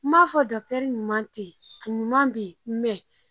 N ma fɔ ɲuman te yen, a ɲuman be yen